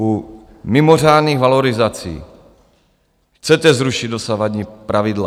U mimořádných valorizací chcete zrušit dosavadní pravidla.